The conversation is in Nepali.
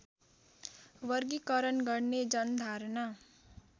वर्गिकरण गर्ने जनधारणा